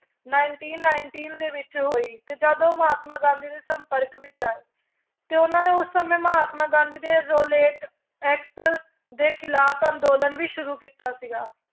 Nineteen nineteen ਦੇ ਵਿੱਚ ਹੋਈ ਤੇ ਜਦ ਉਹ ਮਹਾਤਮਾ ਗਾਂਧੀ ਦੇ ਸੰਪਰਕ ਵਿੱਚ ਆਏ, ਤੇ ਉਹਨਾਂ ਨੇ ਉਸ ਸਮੇਂ ਮਹਾਤਮਾ ਗਾਂਧੀ ਦੇ ਰੋਲੇਟ act ਦੇ ਖਿਲਾਫ਼ ਅੰਦੋਲਨ ਵੀ ਸ਼ੁਰੂ ਕੀਤਾ ਸੀਗਾ